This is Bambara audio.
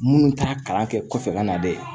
Minnu t'a kalan kɛ kɔfɛ ka na dɛ